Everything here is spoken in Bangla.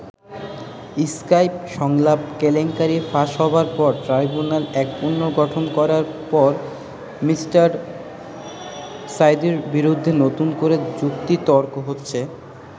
স্কাইপ সংলাপ কেলেঙ্কারি ফাঁস হবার পর ট্রাইব্যুনাল এক পুনর্গঠন করার পর মি. সাঈদীর বিরুদ্ধে নতুন করে যুক্তিতর্ক হচ্ছে।